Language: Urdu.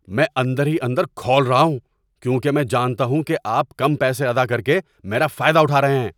میں اندر ہی اندر کھول رہا ہوں کیونکہ میں جانتا ہوں کہ آپ کم پیسے ادا کر کے میرا فائدہ اٹھا رہے ہیں۔